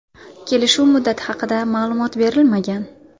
Kelishuv muddati haqida ma’lumot berilmagan.